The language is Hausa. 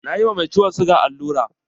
Na yi ma mai ciwon sigan allura.